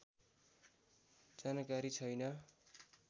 जानकारी छैन